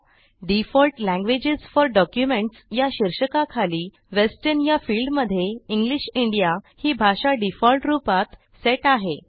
default languages for documentsया शीर्षकाखाली western या फिल्डमध्ये इंग्लिश इंडिया ही भाषा डिफॉल्ट रूपात सेट आहे